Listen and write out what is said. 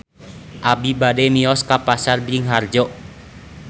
Abi bade mios ka Pasar Bringharjo